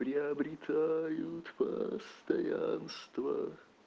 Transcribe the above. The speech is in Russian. приобретают постоянство